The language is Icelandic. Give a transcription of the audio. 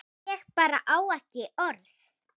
Ég bara á ekki orð.